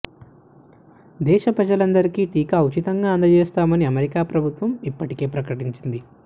దేశ ప్రజలందరికీ టీకా ఉచితంగా అందజేస్తామని అమెరికా ప్రభుత్వం ఇప్పటికే ప్రకటించింది